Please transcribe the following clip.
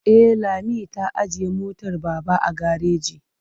E, Lami ta ajiye motar Baba a gareji.